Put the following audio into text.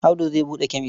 Audu zai buɗe kemes.